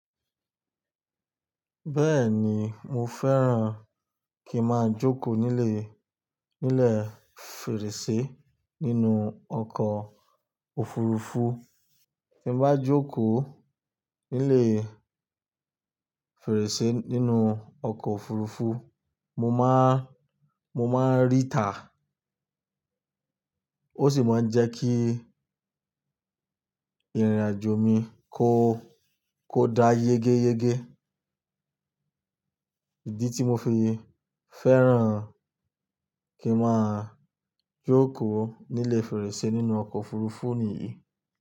Bẹ́ẹ̀ni mo fẹ́ràn kí máa jókòó nílé, nílé fèrèsé nínú ọkọ̀ òfurufú. Bí mo bá jókòó nílé fèrèsé nínú ọkọ̀ òfurufú, mo máa, mo máa ríta ó sì máa ń jẹ́ kí ìrìnàjò mi kó, kó dá yégéyégé. Idí tí mo fi fẹ́ràn kí máa jókòó nílé fèrèsé nínú ọkọ̀ òfurufú nìyí.